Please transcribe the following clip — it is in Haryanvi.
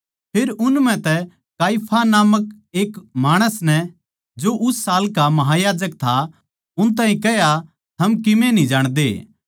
फेर उन म्ह तै काइफा नामका एक माणस नै जो उस साल का महायाजक था उन ताहीं कह्या थम कीमे न्ही जाणदे